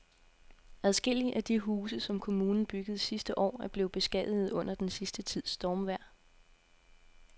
Adskillige af de huse, som kommunen byggede sidste år, er blevet beskadiget under den sidste tids stormvejr.